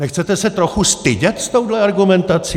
Nechcete se trochu stydět s touhle argumentací?